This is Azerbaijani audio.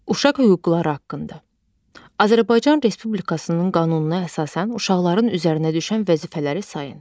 Uşaq hüquqları haqqında Azərbaycan Respublikasının qanununa əsasən uşaqların üzərinə düşən vəzifələri sayın.